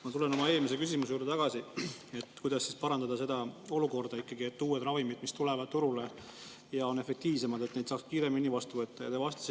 Ma tulen tagasi oma eelmise küsimuse juurde, kuidas parandada seda olukorda, et uusi ravimeid, mis tulevad turule ja on efektiivsemad, saaks kiiremini võtta.